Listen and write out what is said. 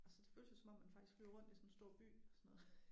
Altså det føles jo som om man faktisk flyver rundt i sådan en stor by og sådan noget